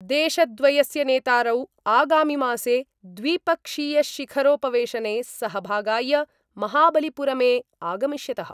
देशद्वयस्य नेतारौ आगामिमासे द्विपक्षीयशिखरोपवेशने सहभागाय महाबलिपुरमे आगमिष्यत:।